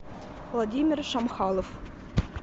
владимир шамхалов